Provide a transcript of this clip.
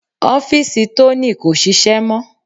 Ọ́fìsì Tony kò ṣiṣẹ́ mọ́.